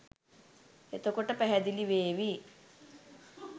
එතකොට පැහැදිලි වේවි